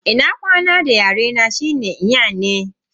Ina kwana da yare na shine "Nyene".